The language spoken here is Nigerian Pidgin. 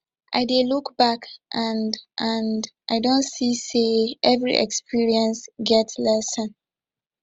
i dey look back and and i don see say every experience get lesson